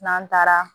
N'an taara